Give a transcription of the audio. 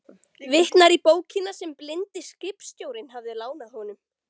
Vitnar í bókina sem blindi skipstjórinn hafði lánað honum.